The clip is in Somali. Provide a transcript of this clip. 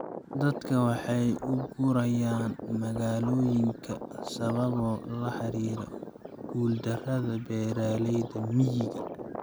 Dadka waxay u guurayaan magaalooyinka sababo la xiriira guuldarada beeralayda miyiga.